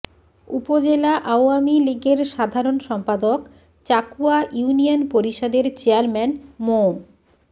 উপজেলা আওয়ামী লীগের সাধারণ সম্পাদক চাকুয়া ইউনিয়ন পরিষদের চেয়ারম্যান মো